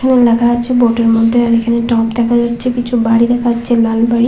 এখানে লেখা আছে বোর্ড -এর মধ্যে আর এখানে টপ দেখা যাচ্ছে কিছু বাড়ি দেখা যাচ্ছে লালবাড়ি।